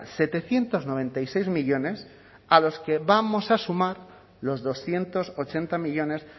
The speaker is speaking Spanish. setecientos noventa y seis millónes a los que vamos a sumar los doscientos ochenta millónes